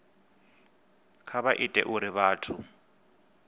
kha vha ite uri vhathu